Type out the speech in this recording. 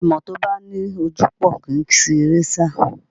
Ẹmọ́ tó bá ní ojúpòó kì í si eré sá